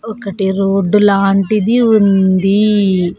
ఒకటి రోడ్డు లాంటిది ఉంది.